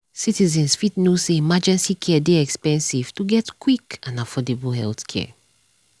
citizens fit know say emergency care dey expensive to get quick and affordable healthcare.